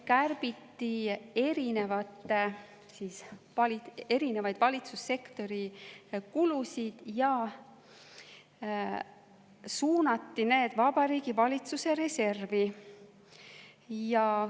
Kärbiti erinevaid valitsussektori kulusid ja suunati need Vabariigi Valitsuse reservi.